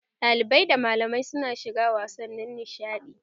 Ɗalibai da malamai su na shiga wasannin nishaɗi